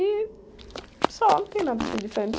E só, não tem nada assim de diferente.